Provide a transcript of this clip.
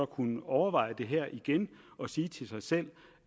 kunne overveje det her igen og sige til sig selv